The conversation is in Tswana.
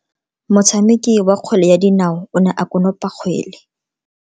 Motshameki wa kgwele ya dinao o ne a konopa kgwele.